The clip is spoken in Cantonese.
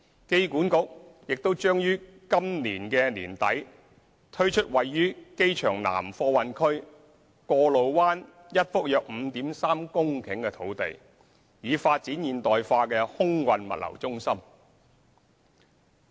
機管局亦將於今年年底推出位於機場南貨運區過路灣一幅約 5.3 公頃的土地，以發展現代化空運物流中心。